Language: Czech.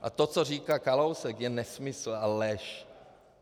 A to, co říká Kalousek, je nesmysl a lež.